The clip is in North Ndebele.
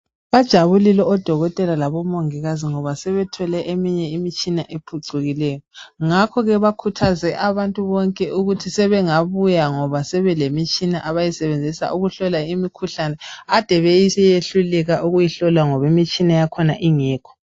Bajabulile odokotela labomongikazi, ngoba sebethole eminye imitshina ephucukileyo. Ngakho ke bakhuthaze abantu bonke ukuthi sebengabuya, ngoba sebelemitshina abayisebenzisa ukuhlola imikhuhlane, ade beyehluleka ukuyihlola, ngoba imitshina yakhona ibingekho.